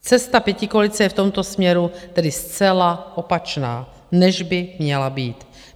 Cesta pětikoalice je v tomto směru tedy zcela opačná, než by měla být.